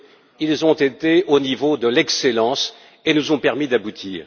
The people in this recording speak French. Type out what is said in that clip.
Ils ont été au niveau de l'excellence et nous ont permis d'aboutir.